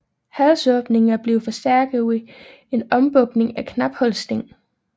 Halsåbningen var blevet forstærket ved en ombukning og knaphulssting